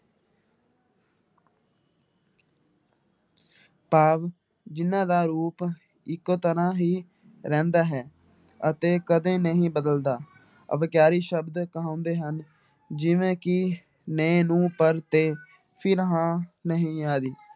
ਭਾਵ ਜਿਹਨਾਂ ਦਾ ਰੂਪ ਇੱਕੋ ਤਰ੍ਹਾਂ ਹੀ ਰਹਿੰਦਾ ਹੈ ਅਤੇ ਕਦੇ ਨਹੀਂ ਬਦਲਦਾ, ਅਵਿਕਾਰੀ ਸ਼ਬਦ ਕਹਾਉਂਦੇ ਹਨ, ਜਿਵੇਂ ਕਿ ਨੇ, ਨੂੰ, ਪਰ, ਤੇ, ਫਿਰ, ਹਾਂ, ਨਹੀਂ ਆਦਿ।